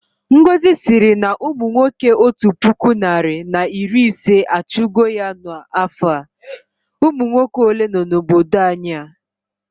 Ngọzi sịrị na umunwoke otu puku narị na iri ise achụ go ya na afọ a, umunwoke ole nọ na obodo anyị a?